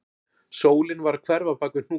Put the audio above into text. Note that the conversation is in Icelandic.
Sólin var að hverfa bak við hnúkana